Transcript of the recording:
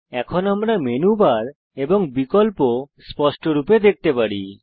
এখন আমরা menu bar এবং বিকল্প স্পষ্টরূপে দেখতে পারি